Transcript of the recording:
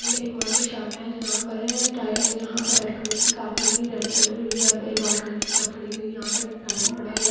ये एक वर्कशॉप है जहा टायर जहां पर रेड कलर की कार खड़ी है रेड कलर या फिर वाईट कलर की कार खड़ी हुई है यहा पर एक टायर भी पड़ा हुआ है।